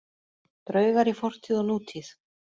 Draugar í fortíð og nútíð